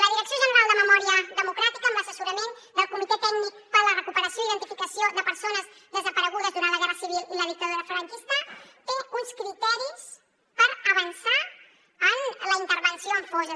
la direcció general de memòria democràtica amb l’assessorament del comitè tècnic per a la recuperació i identificació de persones desaparegudes durant la guerra civil i la dictadura franquista té uns criteris per avançar en la intervenció en fosses